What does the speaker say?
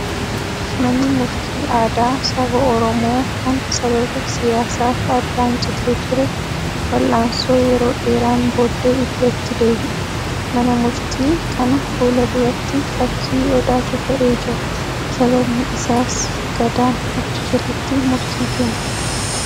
Manni murtii aadaa saba Oromoo kan sababa siyyaasaaf addaan citee ture, wal'aansoo yeroo dheeraan booddee iddootti deebi'e. Mana murtii kana fuula duratti fakkii odaatu ka'ee jira. Sababni isaas gadaan achi jalatti murtii kenna.